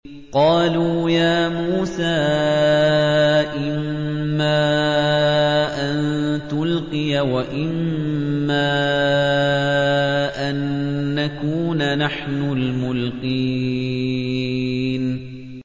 قَالُوا يَا مُوسَىٰ إِمَّا أَن تُلْقِيَ وَإِمَّا أَن نَّكُونَ نَحْنُ الْمُلْقِينَ